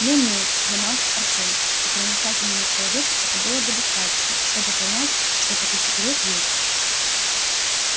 ну-ну замялся артём и проницательному человеку этого было бы достаточно чтобы понять что такой секрет есть